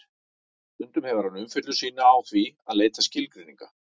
stundum hefur hann umfjöllun sína á því að leita skilgreininga